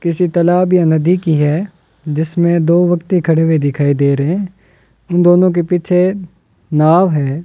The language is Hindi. किसी तालाब या नदी की है जिसमें दो व्यक्ति खड़े हुए दिखाई दे रहे इन दोनों के पीछे नाव है।